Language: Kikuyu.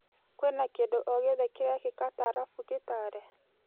Kwĩna kĩndũ ogĩothe kĩrekĩka tarabu gĩtale?